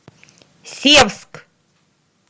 севск